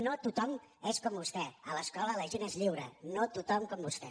no tothom és com vostè a l’escola la gent és lliure no tothom com vostè